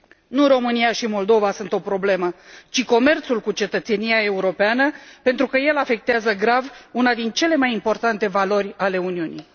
Nu România și Moldova sunt o problemă, ci comerțul cu cetățenia europeană, pentru că el afectează grav una din cele mai importante valori ale Uniunii.